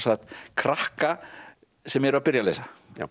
krakka sem eru að byrja að lesa